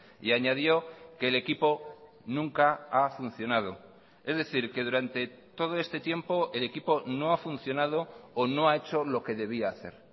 y añadió que el equipo nunca ha funcionado es decir que durante todo este tiempo el equipo no ha funcionado o no ha hecho lo que debía hacer